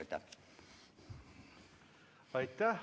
Aitäh!